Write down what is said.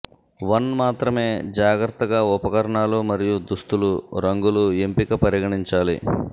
one మాత్రమే జాగ్రత్తగా ఉపకరణాలు మరియు దుస్తులు రంగులు ఎంపిక పరిగణించాలి